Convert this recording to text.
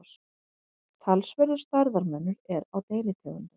talsverður stærðarmunur er á deilitegundum